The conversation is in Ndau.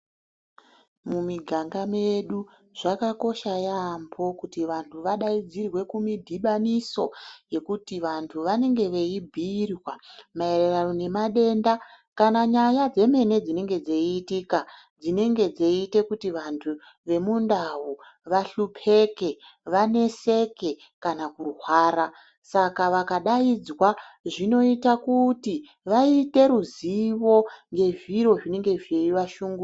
Mumiganga medu, zvakakosha yampho kuti vantu vadayidzirwe kumudhibaniso, yekuti vantu vanenge veyi bhuyirwa mayererano nemadenda kana nyaya dzemene dzinenge dzeyiyitika, dzinenge dzeyiite kuti vantu vemundau vahlupeke, vaneseke kana kurwara, saka vakadayidzwa zvinoyita kuti vayite ruzivo ngezviro zvinenge zveyivashungurudza.